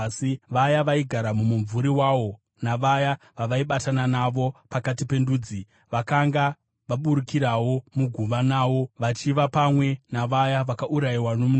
Vaya vaigara mumumvuri wawo, navaya vavaibatana navo pakati pendudzi, vakanga vaburukirawo muguva nawo, vachiva pamwe navaya vakaurayiwa nomunondo.